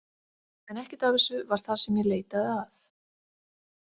En ekkert af þessu var það sem ég leitaði að.